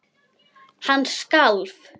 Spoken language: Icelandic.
Hann skalf.